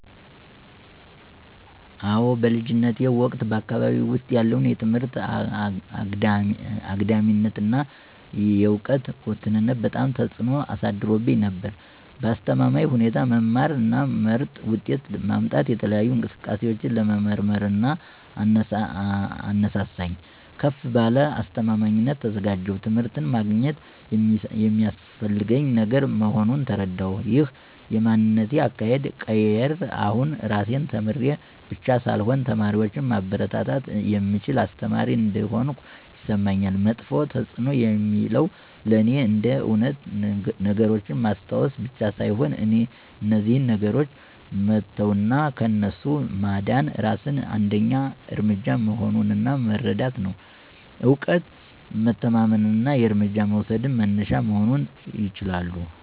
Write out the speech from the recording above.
አዎ በልጅነቴ ወቅት በአካባቢዬ ውስጥ ያለው የትምህርት አግዳሚነት እና የዕውቀት ውስንነት በጣም ተጽእኖ አሳድሮብኝ ነበር። በአስተማማኝ ሁኔታ መማር እና ምርጥ ውጤት ማምጣት የተለያዩ እንቅስቃሴዎችን ለመመርመርር አነሳሳኝ። ከፍ ባለ አስተማማኝነት ተዘጋጀሁ ትምህርት ማግኘት የሚስፈልገኝ ነገር መሆኑን ተረዳሁ። ይህ የማንነቴን አካሄድ ቀየረ አሁን ራሴን ተማሪ ብቻ ሳልሆን ተማሪዎችን ማበረታታት የምችል አስተማሪ እንደሆንኩ ይሰማኛል። መጥፎ ተፅዕኖ የሚለው ለእኔ እንደ እውነት ነገሮችን ማስታወስ ብቻ ሳይሆን እነዚያን ነገሮች መተው እና ከእነሱ ማዳን የራስን አንደኛ እርምጃ መሆኑ እና መረዳት ነው። እውቀት መተማመን እና እርምጃ መውሰድ መነሻ መሆን ይችላሉ።